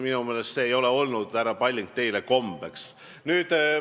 Minu meelest ei ole see olnud, härra Palling, teil kombeks.